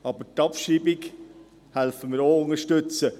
Aber die Abschreibung unterstützen wir ebenso.